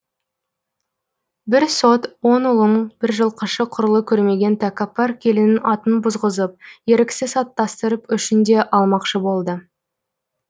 бір сот он ұлын бір жылқышы құрлы көрмеген тәкаппар келінін антын бұзғызып еріксіз аттастырып өшін де алмақшы болды